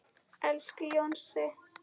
Elsku Jónsi.